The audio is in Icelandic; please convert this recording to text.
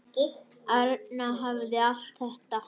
Arna hafði allt þetta.